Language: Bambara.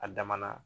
A damana